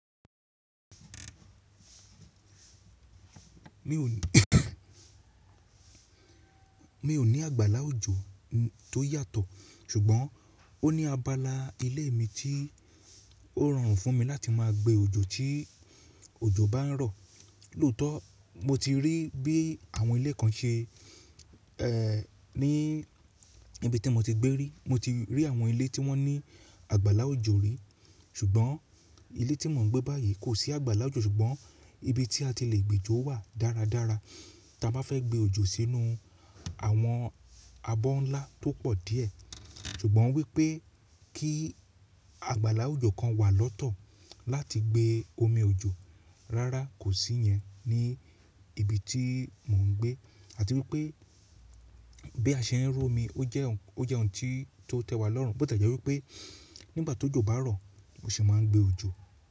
Mi ò ní àgbàlá òjò tó yàtọ̀, ṣùgbọ́n ó ní abala ilé mi tí ó rọrùn fún mi láti má a gbé òjò tí òjò bá ń rọ̀. Lóotọ̀ mo ti rí bí àwọn ilé kan se ní ibi tí mo ti gbé rí. Mo ti rí àwọn ilé tí wọ́n ní àgbàlá òjò rí, ṣùgbọ́n ilé tí mò ń gbé báyìí kò sí àgbàlá òjò ṣùgbọ́n ibi tí a ti le gbé jọ wà dáradára tí a bá fẹ́ gbé òjò sínú àwọn abọ́ ńlá tó pọ̀ díẹ̀. Ṣùgbọ́n wípé kí àgbàlá òjò kan wà lọ́tọ̀ láti gbé omi òjò rárá kò sí yẹn ní ibi tí mò ń gbé. Àti wípé bí a ṣe ń rú omi ó jẹ́ ohun tí tó tẹ́ wa lọ́rùn, bó tàbí jẹ́ wípé nígbà tó jò bá ń rọ̀ mo sì máa ń gbé òjò.